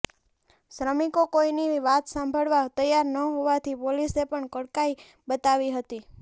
શ્રામિકો કોઈની વાત સાંભળવા તૈયાર ન હોવાથી પોલીસે પણ કડકાઈ બતાવવી પડી હતી